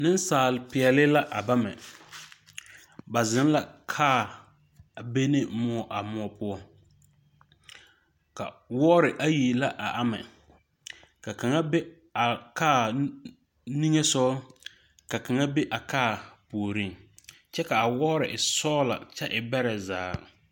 Nesaal piɛle le a bama. Ba zeŋ la kar a be ne muo a muo poʊ. Ka woɔre ayi la a aman Ka kanga be a kar niŋesɔgɔ. Ka kanga be a kar pooreŋ. Kyɛ ka a woɔre e sɔgla kyɛ e bɛra zaa.